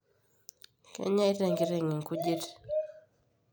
kenyeita enkiteng nkujit